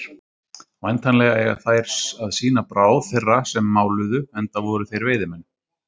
Væntanlega eiga þær að sýna bráð þeirra sem máluðu, enda voru þeir veiðimenn.